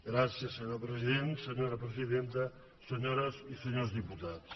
gràcies senyor president senyora presidenta senyores i senyors diputats